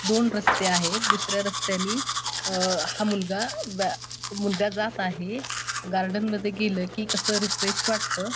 दोन रस्ते आहेत दुसऱ्या रस्त्यानी हा मुलगा बा आ जात आहे गार्डन मध्ये गेल कि कस रिफ्रेश वाटत.